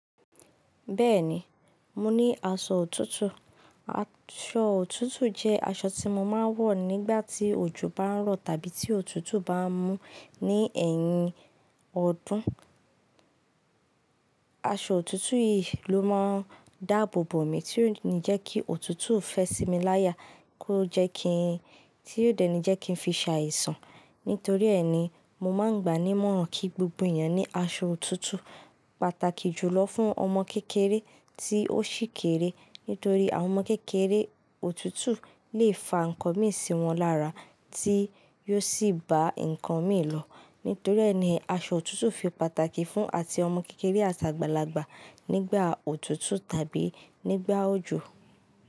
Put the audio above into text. Bẹ́ẹ̀ni, mo ní aṣọ òtútù. Aṣọ òtútù jẹ́ aṣọ tí mo máa ń wọ̀ nígbà tí òjò bá ń rọ̀ tàbí tí òtútù bá ń mú ní ẹ̀yìn ọdún. Aṣọ òtútù yìí ló máa ń dáàbòbò mi, tí yóò ní jẹ́ kí òtútù fẹ́ sí mi láya, kó jẹ́ kí, tí yóò dènì jẹ́ kí n fi ṣàìsàn. Nítorí ẹ́ ni mo máa ń gbàní mọ̀ràn kí gbogbo èèyàn ní aṣọ òtútù, pàtàkì jùlọ fún ọmọ kékeré tí ó sì kéré. Nítorí àwọn ọmọ kékeré òtútù lè fa ǹkan mí sí wọn lára, tí yóò sì ba ǹkan mí lọ. Nítorí ẹ́ ni aṣọ òtútù fi pàtàkì fún àti ọmọ kékeré àti àgbàlagbà nígbà òtútù tàbí nígbà òjò.